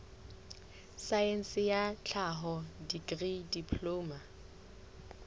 saense ya tlhaho dikri diploma